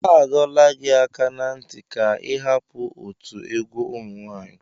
Adọla gị aka na ntị ka ị hapụ otu egwu ụmụ nwanyị.